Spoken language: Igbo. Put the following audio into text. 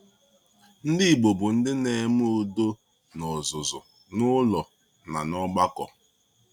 Ndị Igbo bụ ndị na-eme udo n’ọzụzụ, n’ụlọ, na n’ọgbakọ.